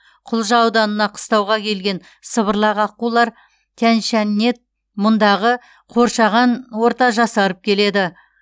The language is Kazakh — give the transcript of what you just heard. құлжа ауданына қыстауға келген сыбырлақ аққулар тяньшаньнет мұндағы қоршаған орта жасарып келеді